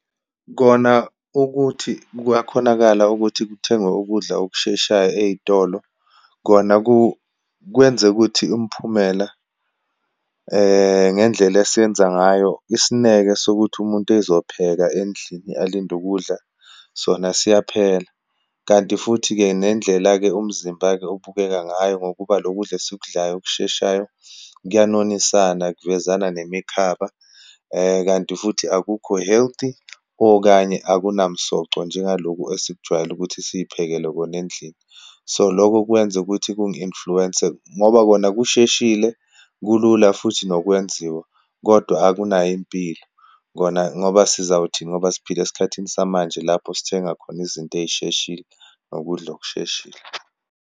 Kona ukuthi kuyakhonakala ukuthi kuthengwe ukudla okusheshayo eyitolo, kona kwenze ukuthi umphumela ngendlela esiyenza ngayo, isineke sokuthi umuntu ezopheka endlini alinde ukudla sona, siyaphela. Kanti futhi-ke nendlela-ke umzimba-ke ubukeka ngayo, ngokuba lokudla esikudlayo, okusheshayo kuya nonisana, kuvezana nemikhaba. Kanti futhi akukho healthy, okanye akunamsoco, njengaloku esikujwayele ukuthi siyiphekele kona endlini. So, lokho kwenze ukuthi kungi-influence-nse, ngoba kona kusheshile, kulula futhi nokwenziwa kodwa akunayo impilo. Kona ngoba sizawuthini ngoba siphila esikhathini samanje, lapho sithenga khona izinto eyisheshile, nokudla okusheshile.